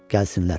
Gəlsinlər.